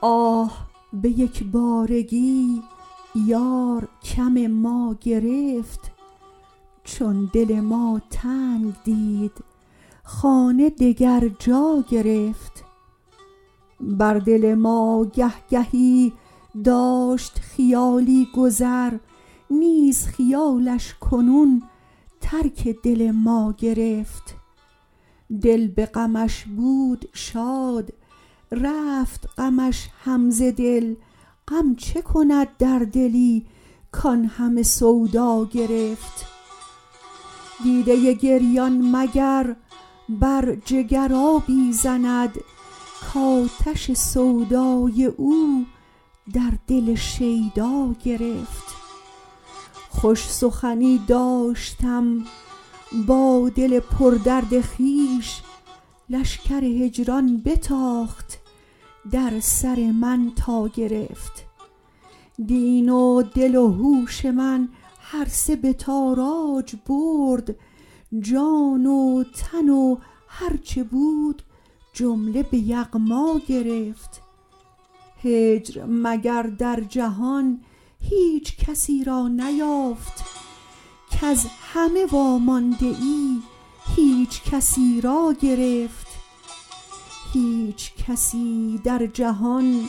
آه به یک بارگی یار کم ما گرفت چون دل ما تنگ دید خانه دگر جا گرفت بر دل ما گه گهی داشت خیالی گذر نیز خیالش کنون ترک دل ما گرفت دل به غمش بود شاد رفت غمش هم ز دل غم چه کند در دلی کان همه سودا گرفت دیده گریان مگر بر جگر آبی زند کاتش سودای او در دل شیدا گرفت خوش سخنی داشتم با دل پردرد خویش لشکر هجران بتاخت در سر من تا گرفت دین و دل و هوش من هر سه به تاراج برد جان و تن و هرچه بود جمله به یغما گرفت هجر مگر در جهان هیچ کسی را نیافت کز همه وامانده ای هیچکسی را گرفت هیچ کسی در جهان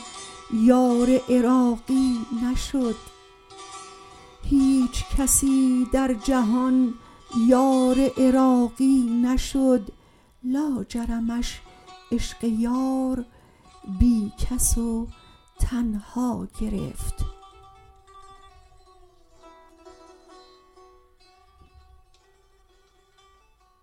یار عراقی نشد لاجرمش عشق یار بی کس و تنها گرفت